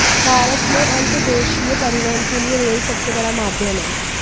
भारत में अंतर्देशीय परिवहन के लिए रेल सबसे बड़ा माध्यम है